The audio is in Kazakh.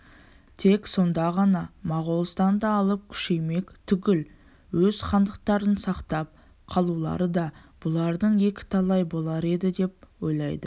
тек сонда ғана моғолстанды алып күшеймек түгіл өз хандықтарын сақтап қалулары да бұлардың екіталай болар еді деп ойлайды